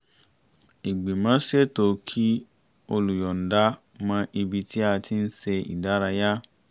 ìgbìmọ̀ ṣètò kí olùyọ̀ǹda mọ́ ibi tí a ti ń ṣe ìdárayá